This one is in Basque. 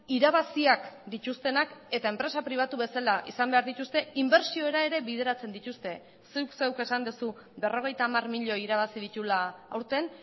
irabaziak dituztenak eta enpresa pribatu bezala izan behar dituzte inbertsiora ere bideratzen dituzte zuk zeuk esan duzu berrogeita hamar milioi irabazi dituela aurten